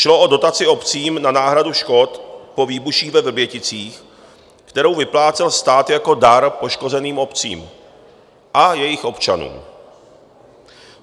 Šlo o dotaci obcím na náhradu škod po výbuších ve Vrběticích, kterou vyplácel stát jako dar poškozeným obcím a jejich občanům.